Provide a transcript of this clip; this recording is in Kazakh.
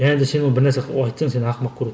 және де сен оны бірнәрсе айтсаң сені ақымақ көреді